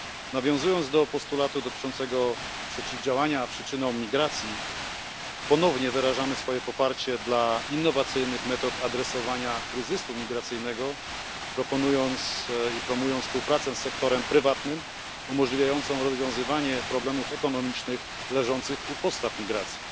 Nawiązując do postulatu dotyczącego przeciwdziałania przyczynom migracji, ponownie wyrażamy poparcie dla innowacyjnych metod rozwiązywania kryzysu migracyjnego, proponując i promując współpracę z sektorem prywatnym, umożliwiającą rozwiązywanie problemów ekonomicznych leżących u podstaw migracji.